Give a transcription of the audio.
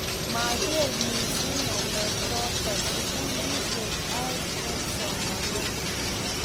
mageer missing ngalechoto sugulishek an aeng eng somanet